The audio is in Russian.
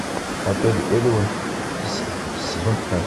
отель элеон сезон пятнадцать